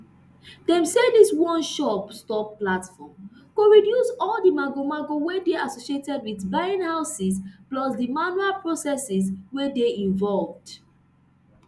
dem say dis oneshop stop platform go reduce all di magomago wey dey associated wit buying houses plus di manual processes wey dey involved